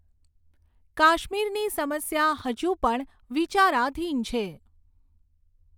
કાશ્મીરની સમસ્યા હજુ પણ વિચારાધીન છે.